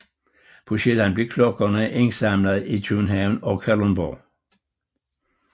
På Sjælland blev klokkerne indsamlet i København og Kalundborg